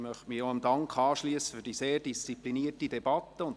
Ich möchte mich dem Dank für die sehr disziplinierte Debatte anschliessen.